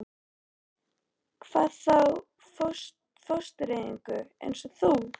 Hvað þá fóstureyðingu- eins og þú.